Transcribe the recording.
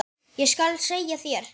Ég skal segja þér